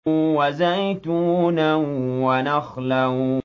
وَزَيْتُونًا وَنَخْلًا